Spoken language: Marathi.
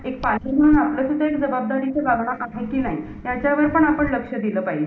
आणि upsc म्हणजे पूर्ण all world मधून म्हणजे कोणा कोणा राज्याच्या कोणकोनातून पोरं mp UPSC चे exam form भरत असतात.